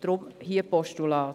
Deshalb: hier Postulat.